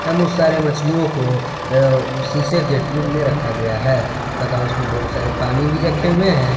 एवं उस सारे मछलियों को अ शीशे के ट्यूब में रखा गया है तथा उसमें बहुत सारे पानी भी रखे हुए हैं।